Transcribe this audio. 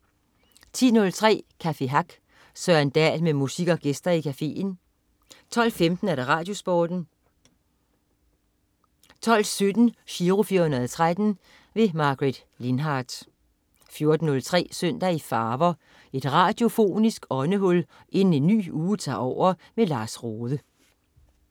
10.03 Café Hack. Søren Dahl med musik og gæster i cafeen 12.15 RadioSporten 12.17 Giro 413. Margaret Lindhardt 14.03 Søndag i farver. Et radiofonisk åndehul inden en ny uge tager over. Lars Rohde